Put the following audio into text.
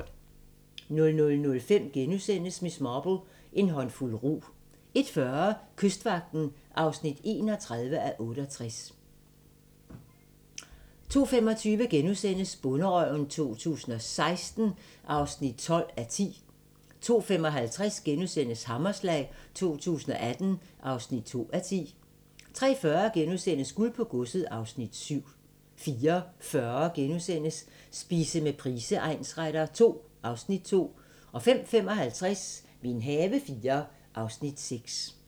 00:05: Miss Marple: En håndfuld rug * 01:40: Kystvagten (31:68) 02:25: Bonderøven 2016 (12:10)* 02:55: Hammerslag 2018 (2:10)* 03:40: Guld på godset (Afs. 7)* 04:40: Spise med Price egnsretter II (Afs. 2)* 05:55: Min have IV (Afs. 6)